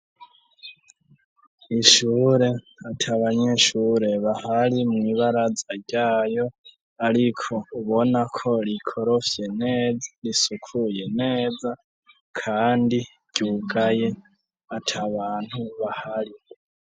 Ishure ati abanyishure bahari mw'ibaraza ryayo, ariko ubona ko rikorofye neza risukuye neza, kandi ryugaye ati bantu bahari.